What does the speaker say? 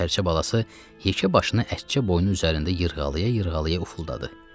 Sərçə balası yekə başını ətçə boynu üzərində yırğalaya-yırğalaya ufuldadı.